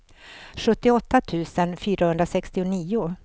sjuttioåtta tusen fyrahundrasextionio